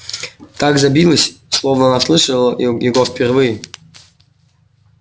так забилось словно она слышала его впервые